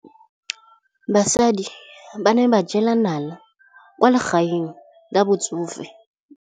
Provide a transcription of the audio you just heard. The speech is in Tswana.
Basadi ba ne ba jela nala kwaa legaeng la batsofe.